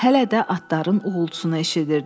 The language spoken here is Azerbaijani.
Hələ də atların uğultusunu eşidirdi.